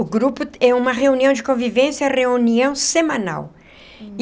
O grupo é uma reunião de convivência, reunião semanal.